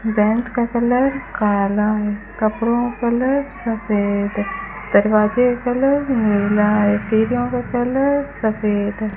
Bench का colour काला है कपड़ों का कलर सफेद है दरवाजे का कलर नीला है सीढ़ियों का कलर सफेद है।